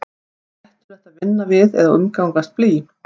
er hættulegt að vinna við eða umgangast blý